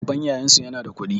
Babban yayansu yana da kuɗi